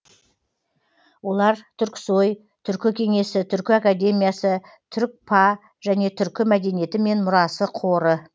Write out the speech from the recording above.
олар түрксои түркі кеңесі түркі академиясы түркпа және түркі мәдениеті мен мұрасы қоры